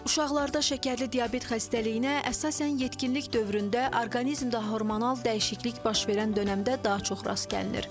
Uşaqlarda şəkərli diabet xəstəliyinə əsasən yetkinlik dövründə, orqanizmdə hormonal dəyişiklik baş verən dönəmdə daha çox rast gəlinir.